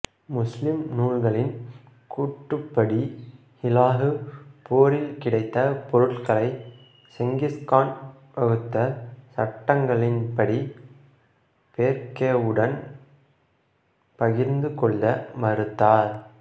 முஸ்லிம் நூல்களின் கூற்றுப்படி ஹுலாகு போரில் கிடைத்த பொருட்களை செங்கிஸ்கான் வகுத்த சட்டங்களின்படி பெர்கேவுடன் பகிர்ந்து கொள்ள மறுத்தார்